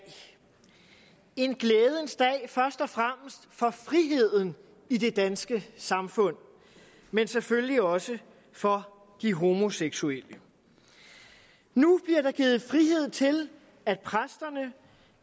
en glædens dag først og fremmest for friheden i det danske samfund men selvfølgelig også for de homoseksuelle nu bliver der givet frihed til at præsterne